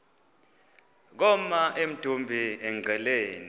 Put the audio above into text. koma emdumbi engqeleni